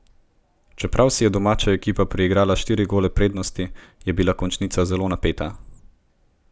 Čeprav si je domača ekipa priigrala štiri gole prednosti, je bila končnica zelo napeta.